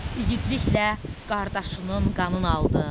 İgidliklə qardaşının qanın aldın.